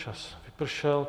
Čas vypršel.